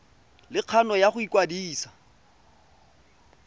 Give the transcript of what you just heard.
le kgano ya go ikwadisa